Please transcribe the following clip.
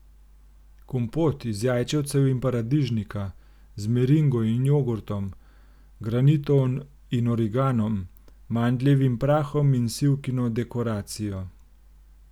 Kompot iz jajčevcev in paradižnika, z meringo in jogurtom, granito in origanom, mandljevim prahom in sivkino dekoracijo.